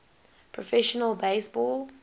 professional base ball